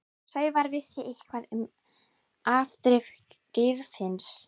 Sævar vissi eitthvað um afdrif Geirfinns.